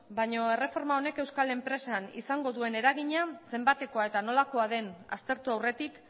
baino erreforma honek euskal enpresan izango duen eragina zenbatekoa eta nolakoa den aztertu aurretik